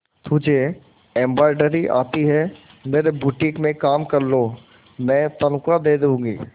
तुझे एंब्रॉयडरी आती है मेरे बुटीक में काम कर लो मैं तनख्वाह दे दूंगी